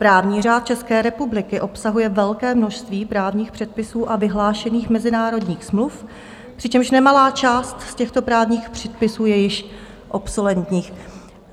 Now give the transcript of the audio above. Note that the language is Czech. Právní řád České republiky obsahuje velké množství právních předpisů a vyhlášených mezinárodních smluv, přičemž nemalá část z těchto právních předpisů je již obsoletních.